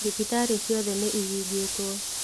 Thibitarĩciothe nĩihingĩtwo.